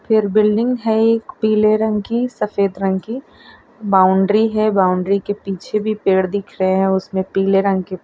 यर building है एक पीले रंग की सफेद रंग की बाउंड्री है बाउंड्री के पीछे भी पेड़ दिख रहे हैं उसमें पीले रंग के --